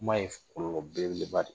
Kuma ye kolɔlɔ belebeleba de ye